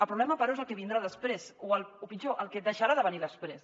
el problema però és el que vindrà després o pitjor el que deixarà de venir després